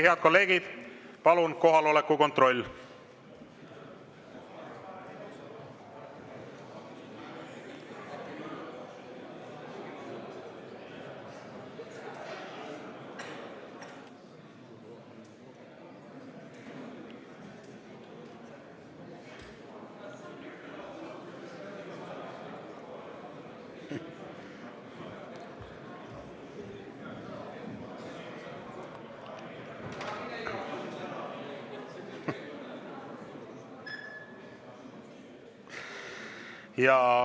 Head kolleegid, palun kohaloleku kontroll!